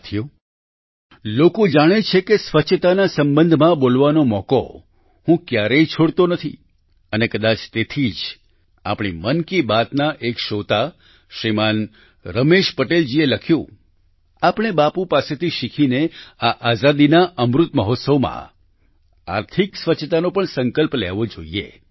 સાથીઓ લોકો જાણે છે કે સ્વચ્છતાના સંબંધમાં બોલવાનો મોકો હું ક્યારેય છોડતો નથી અને કદાચ તેથી જ આપણી મન કી બાત ના એક શ્રોતા શ્રીમાન રમેશ પટેલજીએ લખ્યું આપણે બાપૂ પાસેથી શીખીને આ આઝાદીના અમૃત મહોત્સવમાં આર્થિક સ્વચ્છતાનો પણ સંકલ્પ લેવો જોઈએ